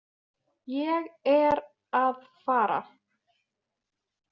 Ég er að fara.